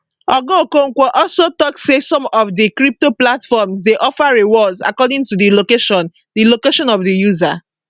oga okonkwo also tok say some of dis crypto platforms dey offer rewards according to di location di location of di user